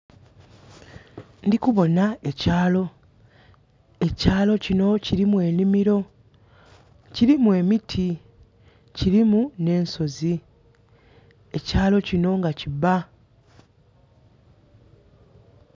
Ndikuboona ekyalo, ekyalo kino kilimu enhimiro, kilimu emiti kilimu ne'nsozi ekyalo kinho nga kibba.